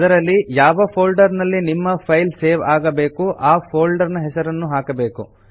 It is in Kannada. ಅದರಲ್ಲಿ ಯಾವ ಫೋಲ್ಡರ್ ನಲ್ಲಿ ನಿಮ್ಮ ಫೈಲ್ ಸೇವ್ ಆಗಬೇಕು ಆ ಫೋಲ್ಡರ್ ನ ಹೆಸರು ಹಾಕಬೇಕು